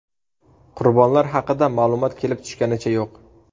Qurbonlar haqida ma’lumot kelib tushganicha yo‘q.